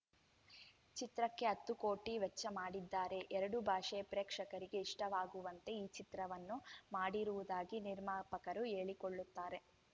ಚಿತ್ರಕ್ಕೆ ಹತ್ತು ಕೋಟಿ ವೆಚ್ಚ ಮಾಡಿದ್ದಾರೆ ಎರಡೂ ಭಾಷೆಯ ಪ್ರೇಕ್ಷಕರಿಗೆ ಇಷ್ಟವಾಗುವಂತೆ ಈ ಚಿತ್ರವನ್ನು ಮಾಡಿರುವುದಾಗಿ ನಿರ್ಮಾಪಕರು ಹೇಳಿಕೊಳ್ಳುತ್ತಾರೆ